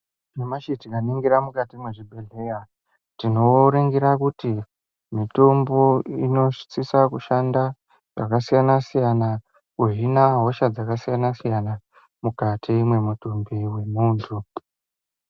Nyamashi tikaningira mukati mezvi bhedhlera tinoringira kuti mitombo inosisa kushanda zvakasiyana siyana kuhina hosha dzakasiyana siyana mukati mwemutumbi wemuntu .